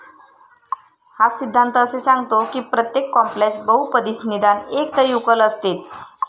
हा सिद्धांत असे सांगतो कि प्रत्येक कॉम्प्लेक्स बहुपदीस निदान एकतरी उकल असतेच.